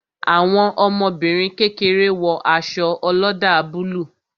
Àwọn ọmọbìnrin kékeré wo aṣọ oloda búlúù